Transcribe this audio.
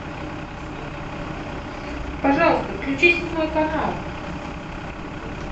пожалуйста включи седьмой канал